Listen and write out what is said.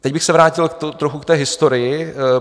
Teď bych se vrátil trochu k té historii.